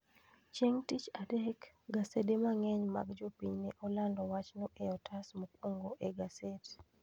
Chieng' Tich Adek, gasede mang'eny mag jopiny ne olando wachno e otas mokwongo e gaset.